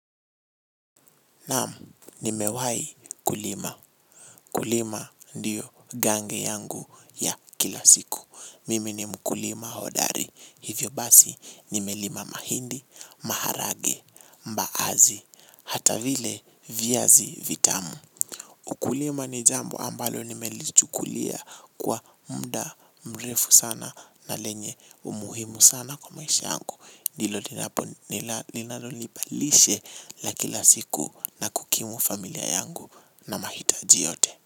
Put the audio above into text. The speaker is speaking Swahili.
Naam, nimewahi kulima. Kulima ndiyo gange yangu ya kila siku. Mimi ni mkulima hodari. Hivyo basi, nimelima mahindi, maharage, mbaazi, hata vile viazi vitamu. Ukulima ni jambo ambalo nimelichukulia kwa mda mrefu sana na lenye umuhimu sana kwa maisha yangu. Nilo linalonipa lishe la kila siku na kukimu familia yangu na mahitaji yote.